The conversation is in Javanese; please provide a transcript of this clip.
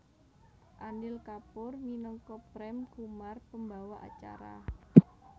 Anil Kapoor minangka Prem Kumar pembawa acara